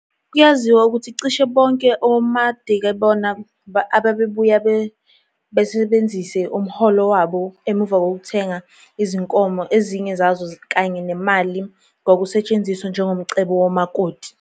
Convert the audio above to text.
Kuyaziwa ukuthi cishe bonke omakadebona ababebuya basebenzise umholo wabo emuva ukuthenga izinkomo, ezinye zazo kanye nemali kwakusetshenziswa njengomcebo womakoti.